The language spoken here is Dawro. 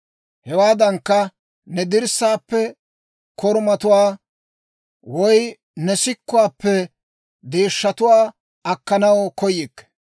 Hewaadankka, ne dirssaappe korumatuwaa, woy ne sikkuwaappe deeshshatuwaa akkanaw koyikke.